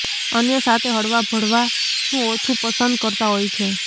અન્ય સાતે હળવા ભળવાનું ઓછું પસંદ કરતા હોય છે